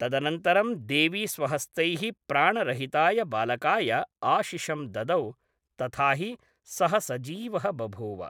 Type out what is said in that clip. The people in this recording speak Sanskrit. तदनन्तरं देवी स्वहस्तैः प्राणरहिताय बालकाय आशिशं ददौ, तथा हि सः सजीवः बभूव।